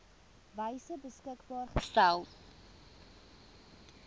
wyse beskikbaar gestel